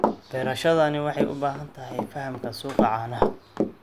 Beerashadani waxay u baahan tahay fahamka suuqa caanaha.